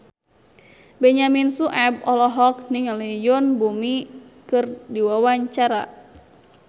Benyamin Sueb olohok ningali Yoon Bomi keur diwawancara